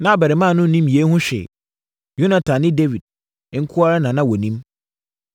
Na abarimaa no nnim yei ho hwee; Yonatan ne Dawid nko ara na na wɔnim.